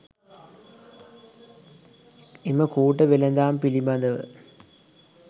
එම කූට වෙළඳාම් පිළිබඳව